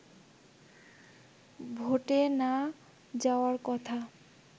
ভোটে না যাওয়ার কথা